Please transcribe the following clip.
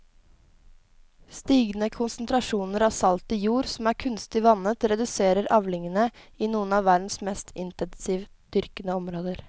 Stigende konsentrasjoner av salt i jord som er kunstig vannet reduserer avlingene i noen av verdens mest intensivt dyrkede områder.